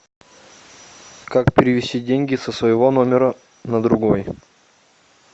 как перевести деньги со своего номера на другой